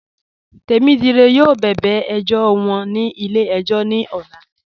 Temídíré yọọ bẹ̀bẹ̀ ẹjọ̀ wọn ní ilẹ̀-ẹ̀jọ̀ ní òlà